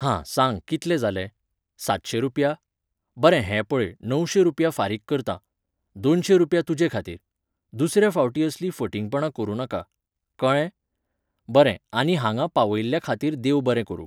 हां, सांग कितले जाले? सातशें रूपया? बरें हें पळय, णवशें रूपया फारीक करतां. दोनशें रूपया तुजे खातीर. दुसऱ्या फावटीं असली फटींगपणां करूं नाका. कळ्ळें? बरें, आनी हांगा पावयिल्ल्या खातीर देव बरें करूं